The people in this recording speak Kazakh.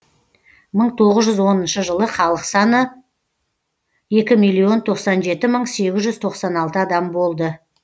мың тоғыз жүз оныншы жылы халық саны екі миллион тоқсан жеті мың сегіз жүз тоқсан алты адам болды